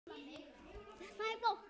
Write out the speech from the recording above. Það er vont.